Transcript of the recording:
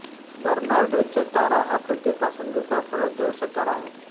बर्नार्डचा तारा हा पृथ्वीपासून दुसरा सर्वात जवळचा तारा आहे